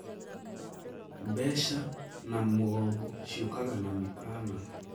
Mbeca na mgombo ciũkaga na mĩkaana.